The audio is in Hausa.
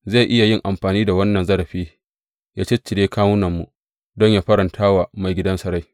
Zai iya yin amfani da wannan zarafi yă ciccire kawunanmu don yă faranta wa maigidansa rai?